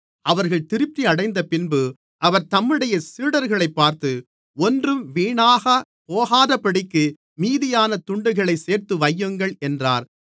அவர்கள் திருப்தியடைந்தப்பின்பு அவர் தம்முடைய சீடர்களைப் பார்த்து ஒன்றும் வீணாகப் போகாதபடிக்கு மீதியான துண்டுகளைச் சேர்த்துவையுங்கள் என்றார்